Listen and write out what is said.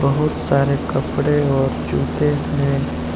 बहुत सारे कपड़े और जूते हैं।